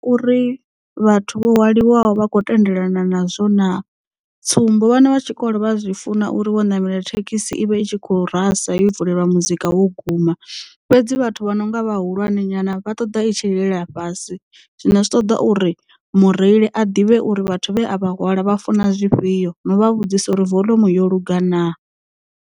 Uri vhathu vho hwaliwa vha khou tendelana nazwo na tsumbo vhana vha tshikolo vha zwi funa uri vho namela thekhisi ivhe i tshi kho rasa yo vulelwa muzika wo guma fhedzi vhathu vha no nga vhahulwane nyana vha ṱoḓa i tshi lilela fhasi zwino zwi ṱoḓa uri mureili a ḓivhe uri vhathu vhe a vha hwala vha funa zwifhio no vha vhudzisa uri volomu yo lungana.